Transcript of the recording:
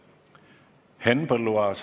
Henn Põlluaas.